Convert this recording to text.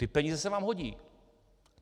Ty peníze se vám hodí!